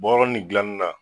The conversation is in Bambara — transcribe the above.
Bɔrɔ ni dilanina